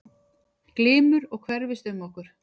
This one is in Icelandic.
Glymur og hverfist um okkur.